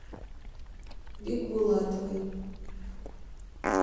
бикбулатовой